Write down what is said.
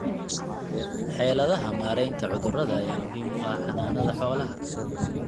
Xeeladaha maaraynta cudurrada ayaa muhiim u ah xanaanada xoolaha.